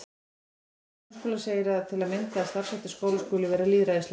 Í lögum um grunnskóla segir til að mynda að starfshættir skóla skuli vera lýðræðislegir.